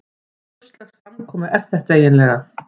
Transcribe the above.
Hvurslags framkoma er þetta eiginlega?